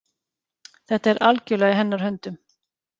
Þetta er algjörlega í hennar höndum.